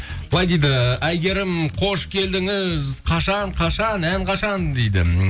былай дейді әйгерім қош келдіңіз қашан қашан ән қашан дейді